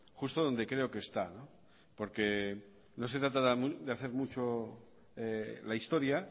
justo donde creo que está porque no se trata de hacer mucho la historia